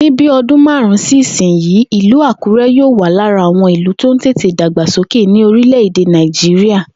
Ní bí o̩dún márùn-ún sí ìsinyìí, ìlú Àkúré̩ yóò wà lára àwo̩n ìlú tó ń tètè dàgbàsókè ní orílè̩-èdè Nàìjíríà